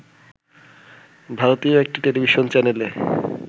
ভারতীয় একটি টেলিভিশন চ্যানেলে